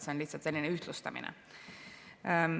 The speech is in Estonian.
See on lihtsalt selline ühtlustamine.